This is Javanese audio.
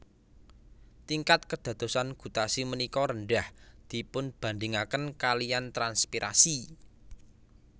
Tingkat kédadosan gutasi ménika rendah dipunbandingakén kaliyan transpirasi